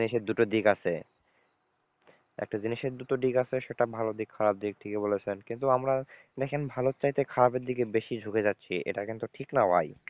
একটা জিনিসের দুটো দিক আছে, একটা জিনিসের দুটো দিক আছে সেটা ভালো দিক খারাপ দিক ঠিকই বলেছেন, কিন্তু আমরা দেখেন ভালোর চাইতে খারাপের দিকে বেশি ঝুঁকে যাচ্ছি এটা কিন্তু ঠিক না ভাই।